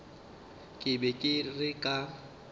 ke be ke re ka